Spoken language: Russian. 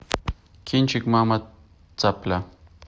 кинчик мама цапля